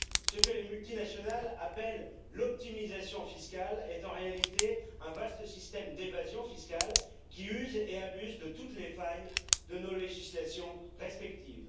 Ce que les multinationales appellent l'optimisation fiscale est en réalité un vaste système d'évasion fiscale, qui use et abuse de toutes les failles de nos législations respectives.